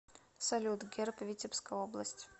салют герб витебская область